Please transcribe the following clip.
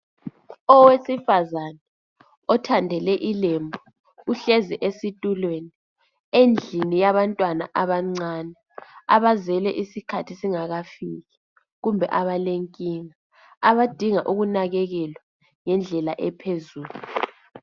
owesivazana othandele ilembu uhlezi esitulweni endlini yabantwana abancane abazelwe iskhathi singakafiki kumbe abalenkinga abadinga ukukekelwa ngendlela ephezulu